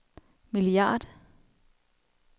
milliard